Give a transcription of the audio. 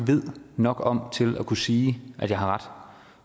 ved nok om til at kunne sige at jeg har ret